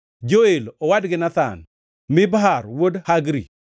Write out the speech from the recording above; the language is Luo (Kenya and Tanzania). Joel owadgi Nathan, Mibhar wuod Hagri,